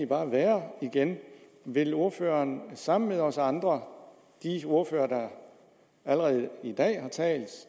bare være vil ordføreren sammen med os andre de ordførere der allerede i dag har talt